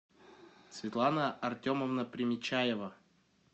светлана артемовна примечаева